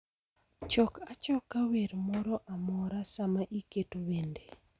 Chok achoka wer moro amora sama iketo wende